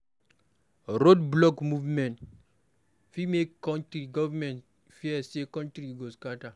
Road block protest fit make government fear say country go scatter